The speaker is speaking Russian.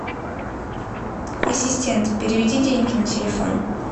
ассистент переведи деньги на телефон